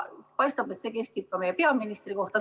Paistab, et see kehtib ka meie peaministri kohta.